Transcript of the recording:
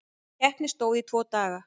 Keppni stóð í tvo daga.